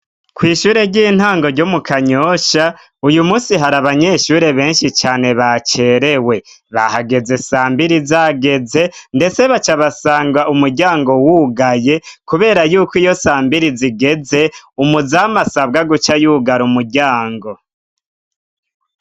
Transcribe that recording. Kw'ishure ry'intango ryo mu Kanyoshya, uyu munsi hari abanyeshure benshi cane bacerewe; bahageze sambiri zageze, ndetse bacabasanga umuryango wugaye kubera yuko iyo sambiri zigeze, umuzamu asabwa guca yugara umuryango.